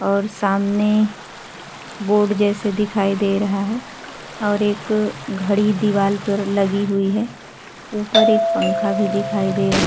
और सामने बोर्ड जैसे दिखाई दे रहा है और एक घड़ी दीवाल पर लगी हुई है। ऊपर एक पंखा भी दिखाई दे रहा --